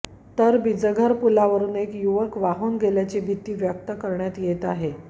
तर बिजघर पुलावरुन एक युवक वाहून गेल्याची भीती व्यक्त करण्यात येत आहे